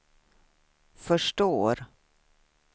förstår